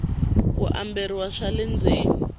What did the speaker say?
ku kamberiwa swa le ndzeni